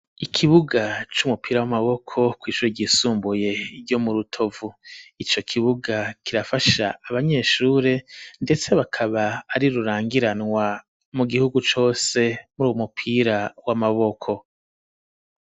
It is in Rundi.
Ikibuga c'umupira w'amaboko kw'ishuri ryisumbuye ryo mu rutovu, ico kibuga kirafasha abanyeshure ndetse bakaba ari rurangiranwa mu gihugu cose ,muri uwu mupira w'amaboko.